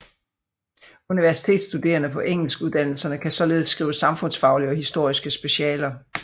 Universitetsstuderende på Engelskuddannelserne kan således skrive samfundsfaglige og historiske specialer